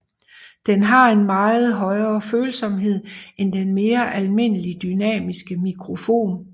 Den har en meget højere følsomhed end den mere almindelige dynamiske mikrofon